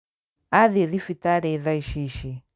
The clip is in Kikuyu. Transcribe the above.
Athiĩ thibitarĩ thaa Ici ici